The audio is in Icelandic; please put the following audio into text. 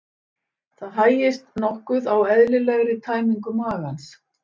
Það hægist nokkuð á eðlilegri tæmingu magans.